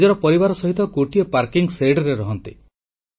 ସେ ନିଜର ପରିବାର ସହିତ ଗୋଟିଏ ପାର୍କିଂ ଜାଗାରେ ରହନ୍ତି